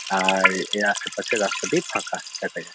আর এর আশেপাশের রাস্তাটি ফাঁকা দেখা যাচ্ছে।